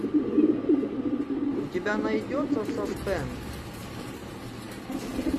у тебя найдется саспенс